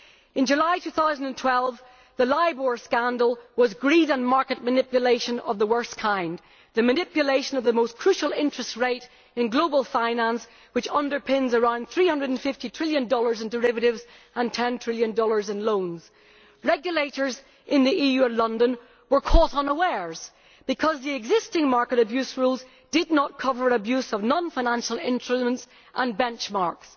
In July 2012, the LIBOR scandal was an illustration of greed and market manipulation of the worst kind manipulation of the most crucial interest rate in global finance, which underpins around USD 350 trillion in derivatives and USD 10 trillion in loans. Regulators in the EU and London were caught unawares because the existing market abuse rules did not cover abuse of non financial instruments and benchmarks.